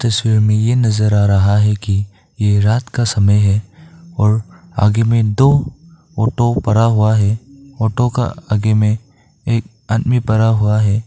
दृश्य में ये नजर आ रहा है कि ये रात का समय है और आगे में दो ऑटो पड़ा हुआ है ऑटो का आगे में एक आदमी पड़ा हुआ है।